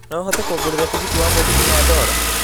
no ũhote kũngũrira tigiti wa mũgithi na dola